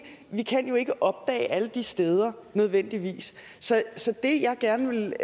vi kan jo ikke opdage alle de steder nødvendigvis så det jeg gerne ville